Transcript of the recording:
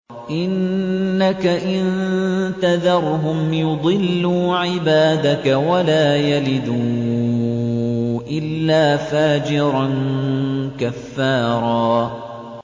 إِنَّكَ إِن تَذَرْهُمْ يُضِلُّوا عِبَادَكَ وَلَا يَلِدُوا إِلَّا فَاجِرًا كَفَّارًا